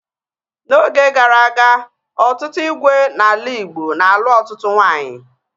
N'oge gara aga, ọtụtụ ígwè n'ala Igbo na-alụ ọtụtụ nwaanyị